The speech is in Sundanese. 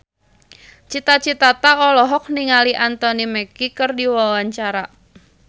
Cita Citata olohok ningali Anthony Mackie keur diwawancara